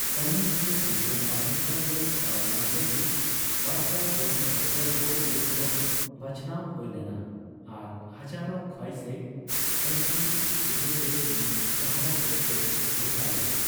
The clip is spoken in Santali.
ᱥᱟᱭᱱᱤ ᱫᱚ ᱵᱤᱠᱠᱨᱚᱢ ᱢᱟᱞᱦᱳᱛᱛᱨᱟ ᱨᱮ ᱫᱟᱣᱧᱟᱢ ᱞᱟᱹᱜᱤᱫ ᱵᱟᱨᱥᱟᱭ ᱡᱚᱱ ᱨᱟᱹᱥᱤᱭᱟᱹ ᱠᱚ ᱢᱩᱫᱽ ᱠᱷᱚᱱ ᱵᱟᱪᱷᱱᱟᱣ ᱦᱳᱭ ᱞᱮᱱᱟ ᱟᱨ ᱦᱟᱡᱟᱨᱳ ᱠᱷᱳᱣᱟᱭᱥᱮᱱ ᱮᱭᱥᱤ ᱪᱤᱛᱟᱹᱨ ᱨᱮ ᱩᱱᱤ ᱜᱟᱦᱟᱣ ᱞᱮᱠᱟᱛᱮᱭ ᱜᱚᱴᱟ ᱞᱮᱱᱟ ᱾